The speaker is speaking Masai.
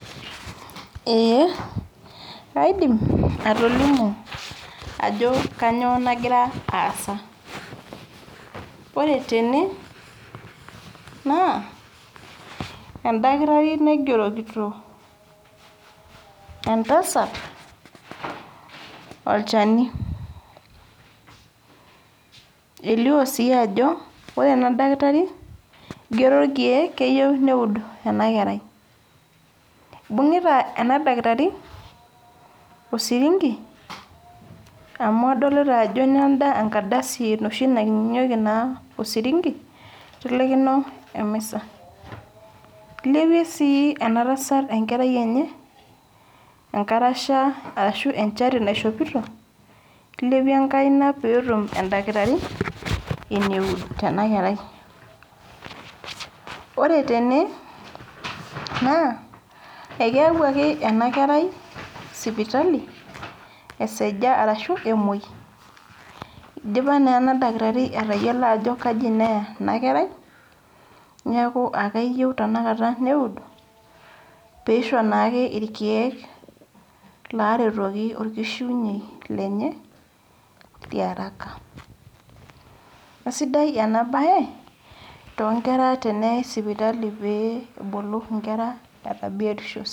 Ee kaidim atolimu ajo kanyioo nagira aasa. Ore tene, naa edakitari naigerokito entasat olchani. Elio si ajo ore enadakitari, igero irkeek keyieu neud enakerai. Ibung'ita ena dakitari osirinki, amu adolita ajo nenda enkardasi enoshi ninyang'unyeki naa osirinki, itelekino emisa. Ilepie si enatasat enkerai enye, enkarasha arashu enchati naishopito, ilepie enkaina petum edakitari, eneud tenakerai. Ore tene, naa ekeewuaki enakerai, sipitali esaja arashu emoi, idipa naa enadakitari atayiolo ajo kaji neya enakerai, neeku akeyieu tanakata neud, pisho nake irkeek laretoki orkishiunyei lenye, liaraka. Kasidai enabae, tonkera teneyai sipitali pee ebulu inkera etaa biotisho.